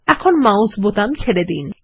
এখন মাউসের বোতাম ছেড়ে দিন